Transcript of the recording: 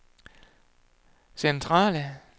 centrale